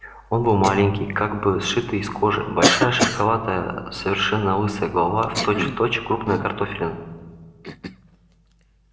он был маленький как бы сшитый из кожи большая шишковатая совершенно лысая голова точь в точь крупная картофелина